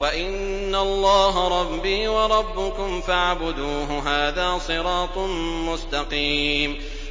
وَإِنَّ اللَّهَ رَبِّي وَرَبُّكُمْ فَاعْبُدُوهُ ۚ هَٰذَا صِرَاطٌ مُّسْتَقِيمٌ